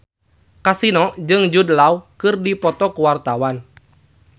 Kasino jeung Jude Law keur dipoto ku wartawan